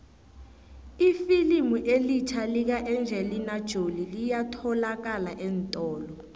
ifilimu elitjha lika engelina jolie liyatholalakala eentolo